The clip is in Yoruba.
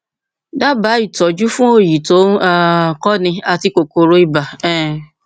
dábàá ìtọjú fún òòyì tó ń um kọni àti kòkòrò ibà um